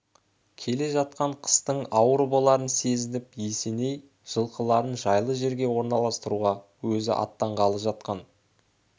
келе жатқан қыстың ауыр боларын сезініп есеней жылқыларын жайлы жерге орналастыруға өзі аттанғалы жатқан